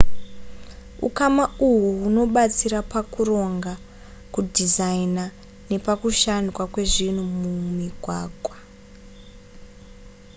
ukama uhu hunobatsira pakuronga kudhizaina nepakushandwa kwezvinhu zvemumigwagwa